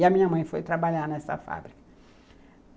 E a minha mãe foi trabalhar nessa fábrica.